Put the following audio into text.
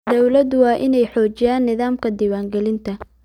Dawladdu waa inay xoojisaa nidaamka diiwaangelinta.